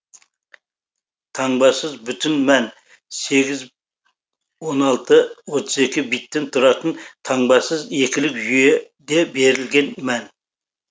таңбасыз бүтін мән сегіз он алты отыз екі биттен тұратын таңбасыз екілік жүйеде берілген мән